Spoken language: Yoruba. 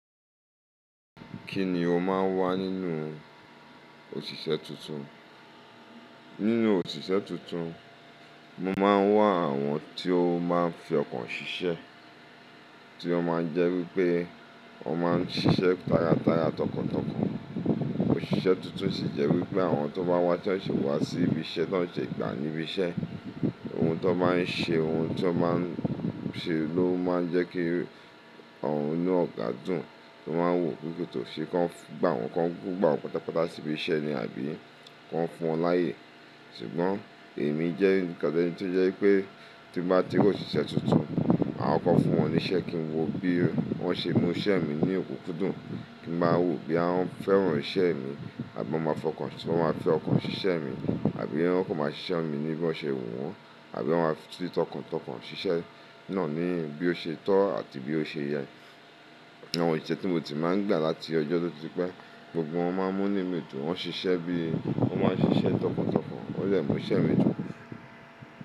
Kí ni o máà ń wá nínú òṣìṣẹ́ tuntun? Nínú òṣìṣẹ́ tuntun, mo máa ń wá àwọn tí ó máa ń fi ọkàn ṣiṣẹ́, tí ó máa ń jẹ́ wípé wọn máa ń ṣiṣẹ́ tára tára, tọkàntọkàn. Òṣìṣẹ́ tuntun sì jẹ́ wípé àwọn tó bá wá tí wọ́n sì wá sí ibi iṣẹ́, tí wọ́n sese gbà níbi iṣẹ́, ohun tó n bá ń ṣe, ohun tí ó máa ń ṣe ló máa ń jẹ́ kí àwọn inú ọ̀gá dùn tó máa ń wò kí ó tó ṣe kí wọ́n gbà wọ́n, kí wọ́n gbà wọ́n pátápátá sí ibi iṣẹ́ ni àbí kí wọ́n fún wọn láàyè. Ṣùgbọ́n èmi jẹ́ nǹkan tó jẹ́ wípé tí n bá ti rí òṣìṣẹ́ tuntun, màá kọ́kọ́ fún wọn níṣẹ́ kí n wo bí wọ́n ṣe mú iṣẹ́ mi ní òkúnkúndùn, kí n ba wòó bóyá wọ́n fẹ́ràn iṣẹ́ mi àbí wọ́n máa fi ọkàn ṣiṣẹ́ mi ni? Àbí wọ́n kàn máa ṣiṣẹ́ mi ní bó ṣe wù wọ́n? Àbí wọ́n máa fi tọkàntọkàn ṣiṣẹ́ náà ní bí ó ṣe tọ́ àti ní bí ó ṣe yẹ? Àwọn òṣìṣẹ́ tí mo ti máa ń gbà láti ọjọ́ tó ti pẹ́, gbogbo wọn máa ń múnú mi dùn. Wọ́n ṣiṣẹ́ bí, wọ́n máa ń ṣiṣẹ́ tọkàntọkàn, wọ́n dẹ̀ mú iṣẹ́ mi dùn.